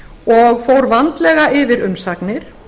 og fór vandlega yfir umsagnir